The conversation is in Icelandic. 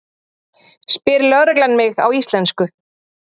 spyr lögreglan mig á íslensku.